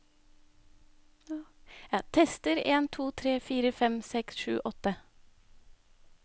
Tester en to tre fire fem seks sju åtte